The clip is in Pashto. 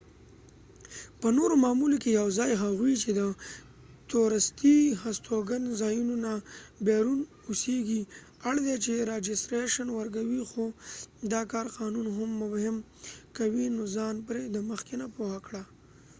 په نورو معاملو کې یواځی هغوي چې د تورستی هستوګن ځایونو نه بیرون اوسیږی اړ دي چې راجستریشن وکړي خو دا کار قانون نو هم مبهم کوي نو ځان پری د مخکې نه پوهه کړه